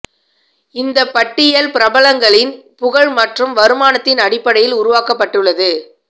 இந்தப் பட்டியல் பிரபலங்களின் புகழ் மற்றும் வருமானத்தின் அடிப்படையில் உருவாக்கப்பட்டுள்ளது